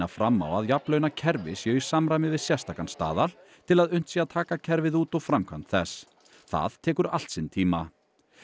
fram á að jafnlaunakerfi séu í samræmi við sérstakan staðal til að unnt sé að taka kerfið út og framkvæmd þess það tekur allt sinn tíma